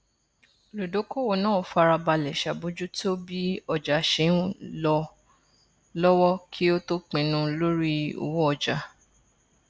olùdókòwò náà farabalẹ ṣàbójútó bí ọjà ṣe ń lọ lọwọ kí ó tó pinnu lórí owó ọjà